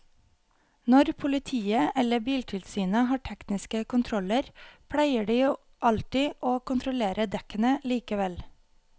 Når politiet eller biltilsynet har tekniske kontroller pleier de jo alltid å kontrollere dekkene likevel.